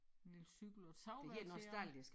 En lille cykel og et savværk dér